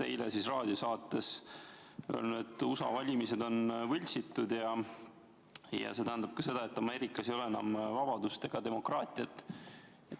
Eile raadiosaates ütlesite, et USA valimised on võltsitud ja see tähendab ka seda, et Ameerikas ei ole enam vabadust ega demokraatiat.